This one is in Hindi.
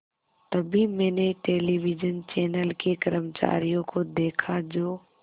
तभी मैंने टेलिविज़न चैनल के कर्मचारियों को देखा जो